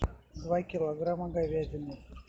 два килограмма говядины